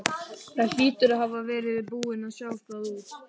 Þú hlýtur að hafa verið búinn að sjá það út.